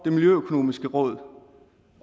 miljøøkonomiske råd